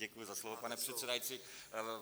Děkuji za slovo, pane předsedající.